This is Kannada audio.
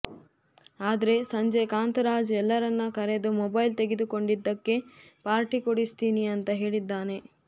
ಆದ್ರೆ ಸಂಜೆ ಕಾಂತರಾಜ್ ಎಲ್ಲರನ್ನ ಕರೆದು ಮೊಬೈಲ್ ತೆಗೆದುಕೊಂಡಿದ್ದಕ್ಕೆ ಪಾರ್ಟಿ ಕೊಡಿಸ್ತೀನಿ ಅಂತ ಹೇಳಿದ್ದಾನೆ